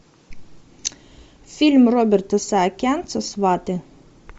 фильм роберта саакянца сваты